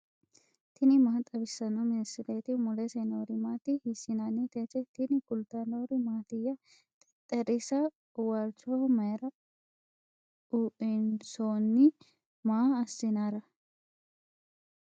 tini maa xawissanno misileeti ? mulese noori maati ? hiissinannite ise ? tini kultannori mattiya? Xexxerisa waalichoho mayiira ueinsoonni? maa asinara?